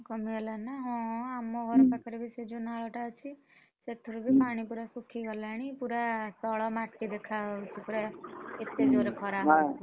କମି ଗଲାଣି ନା ହଁ ଆମ ଘର ପାଖରେ ସେ ଯୋଉ ନାଳ ଟା ଅଛି, ସେଥିରେ ବି ପାଣି ପୁରା ଶୁଖି ଗଲାଣି, ପୁରା ତଳ ମାଟି ଦେଖା ହଉଛି ପୁରା ଏତେ ଜୋରେ ଖରା ହଉଛି ।